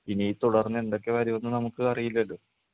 ഇനി തുടർന്ന് എന്തൊക്കെ വരുമെന്ന് നമുക്ക് അറിയില്ലല്ലോ?